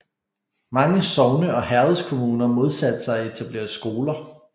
Mange sogne og herredskommuner modsatte sig at etablere skoler